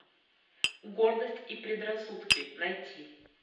гордость и предрассудки найти